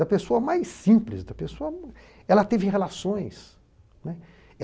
Da pessoa mais simples, da pessoa... Ela teve relações, né.